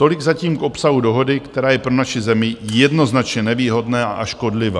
Tolik zatím k obsahu dohody, která je pro naši zemi jednoznačně nevýhodná a škodlivá.